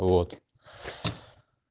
вот